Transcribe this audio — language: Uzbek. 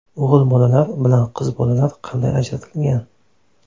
O‘g‘il bolalar bilan qiz bolalar qanday ajratilgan?